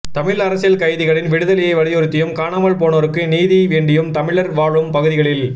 தமிழ் அரசியல் கைதிகளின் விடுதலையை வலியுறுத்தியும் காணாமல் போனோருக்கு நீதி வேண்டியும் தமிழர் வாழும் பகுதிகளில்